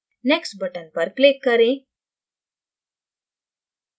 next button पर click करें